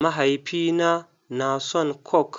Mahaifina na son coke.